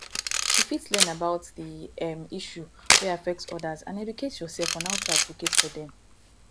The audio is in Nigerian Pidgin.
you fit learn about di um issue wey affect odas and educate yourself on how to advocate for dem